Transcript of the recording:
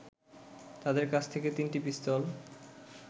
তাদের কাছ থেকে তিনটি পিস্তল